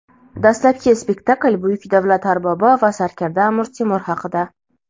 Dastlabki spektakl buyuk davlat arbobi va sarkarda "Amir Temur" haqida.